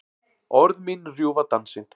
Orð mín rjúfa dansinn.